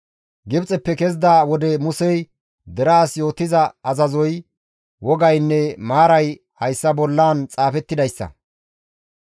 Gibxeppe kezida wode Musey deraas yootida azazoy, wogaynne maaray hayssa bollan xaafettidayssa.